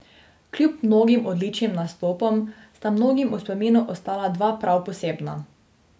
Kljub mnogim odličnim nastopom sta mnogim v spominu ostala dva prav posebna.